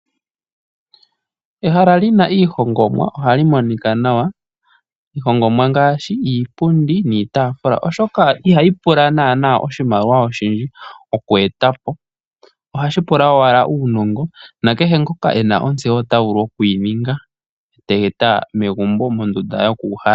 Ehala lina iihongomwa ohali monika nawa. Iihongomwa ngaashi iipundi niitaafula oshoka ihayi pula naana iimaliwa oyindji, ohayi pula owala uunongo na kehe ngoka ena ontseyo ota vulu oku yi ninga e teyi eta megumbo mondunda yokuuhala.